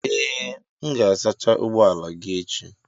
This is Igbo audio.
Ee m ga-asacha ụgbọ ala gị echi.